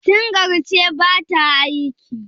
singar ce ba ta aiki?